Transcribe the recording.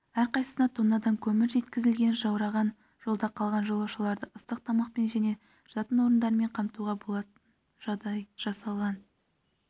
әрқайсысына тоннадан көмір жеткізілген жаураған жолда қалған жолаушыларды ыстық тамақпен және жатын орындарымен қамтуға жағдай жасалған